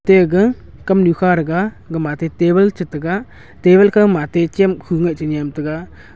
tega kam nu kha taga gama te table cha taiga table ka mate cham khu nga cha niam taiga.